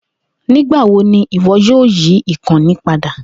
Nigbawo ni iwọ yoo yi ikanni pada?